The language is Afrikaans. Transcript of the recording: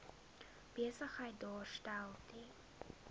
besigheid daarstel ten